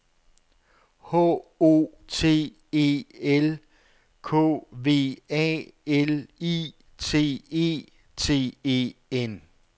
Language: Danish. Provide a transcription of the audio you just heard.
H O T E L K V A L I T E T E N